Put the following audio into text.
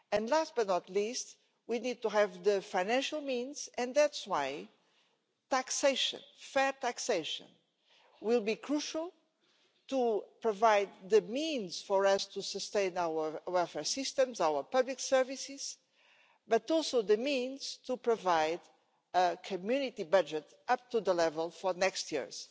Last but not least, we need to have the financial means and that's why taxation, fair taxation, will be crucial to provide the means for us to sustain our welfare systems, our public services, but also the means to provide a community budget up to the level for the next years.